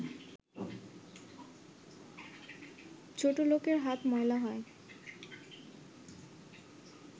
ছোটলোকের হাত ময়লা হয়